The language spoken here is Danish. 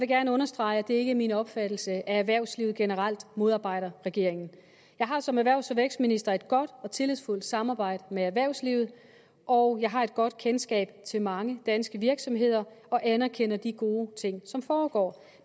gerne understrege at det ikke er min opfattelse at erhvervslivet generelt modarbejder regeringen jeg har som erhvervs og vækstminister et godt og tillidsfuldt samarbejde med erhvervslivet og jeg har et godt kendskab til mange danske virksomheder og anerkender de gode ting som foregår